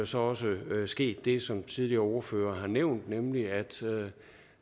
så også sket det som tidligere ordførere har nævnt nemlig at